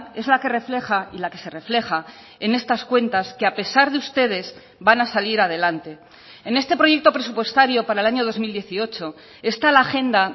es la que refleja y la que se refleja en estas cuentas que a pesar de ustedes van a salir adelante en este proyecto presupuestario para el año dos mil dieciocho está la agenda